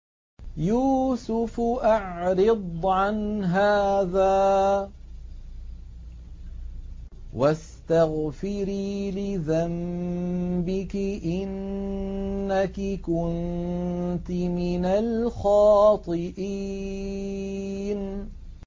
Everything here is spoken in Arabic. يُوسُفُ أَعْرِضْ عَنْ هَٰذَا ۚ وَاسْتَغْفِرِي لِذَنبِكِ ۖ إِنَّكِ كُنتِ مِنَ الْخَاطِئِينَ